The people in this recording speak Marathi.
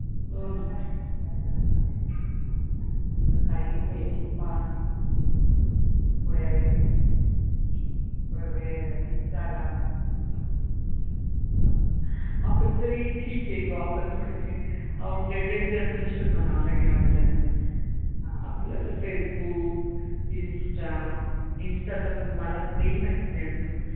आपण तरी ठिक आहे बुवा आपण थोडेसे outdated generation म्हणावे लागेल आह आपल्याला फेसबुक, इन्स्टा. इन्स्टा तर मला तेही माहीत नाही अजून